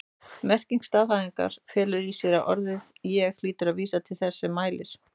Merking staðhæfingarinnar felur í sér að orðið ég hlýtur að vísa til þess sem mælir.